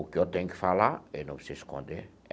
O que eu tenho que falar eu não preciso esconder.